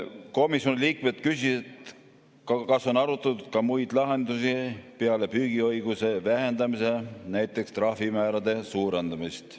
Komisjoni liikmed küsisid, kas on arutatud ka muid lahendusi peale püügiõiguse vähendamise, näiteks trahvimäärade suurendamist.